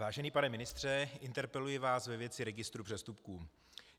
Vážený pane ministře, interpeluji vás ve věci registru přestupků.